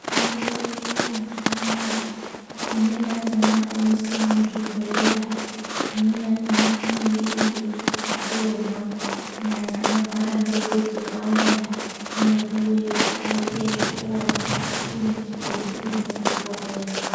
Mitombo yedu mazuva ano aya, imweni yakona inoiswe muzvibhodhlera, imweni yakona inenge iri yekuti tomwa kunyanya anorwara negotsorwa yani anopuwe kuti aite zvekumwa iri muzvibhodhlera.